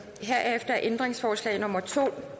herefter er ændringsforslag nummer to